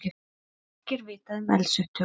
Ekki er vitað um eldsupptök